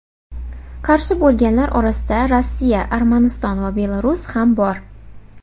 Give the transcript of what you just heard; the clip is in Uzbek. Qarshi bo‘lganlar orasida Rossiya, Armaniston va Belarus ham bor.